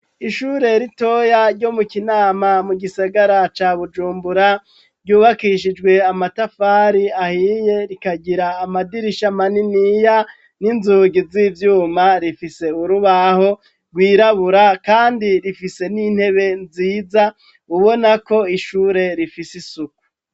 Ishure ritoya ryo mu Kinama mu gisagara ca bujumbura, ryubakishijwe amatafari ahiye, rikagira amadirisha maniniya, n'inzugi z'ivyuma. Rifise urubaho rwirabura, kandi rifise n'intebe nziza, ubona ko ishure rifise isuku.